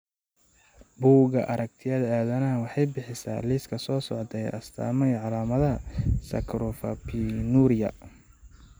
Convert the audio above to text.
Buugga Aragtiyaha Aadanaha waxay bixisaa liiska soo socda ee astamaha iyo calaamadaha Saccharopinuria.